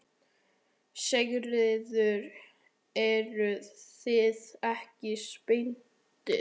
Sigríður: Eruð þið ekki spenntar?